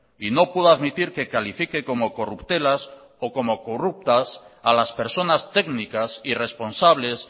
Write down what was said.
y no puedo admitir que califique como corruptelas o como corruptas a las personas técnicas y responsables